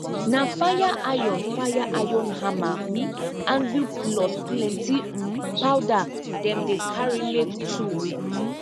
na fire iron fire iron hammer um anvil plus plenti um power dem dey carry make tool um